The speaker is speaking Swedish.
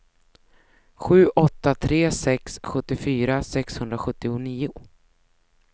sju åtta tre sex sjuttiofyra sexhundrasjuttionio